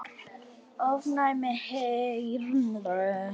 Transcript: ofnæm heyrn